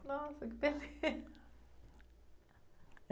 Nossa, que beleza.